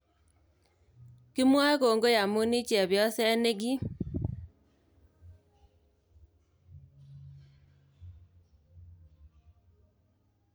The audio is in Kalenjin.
Kimwoe kongoi amun ii chepyoseet ne kiim